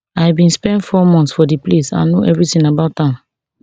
i bin spend four months for dis place and know evritin about am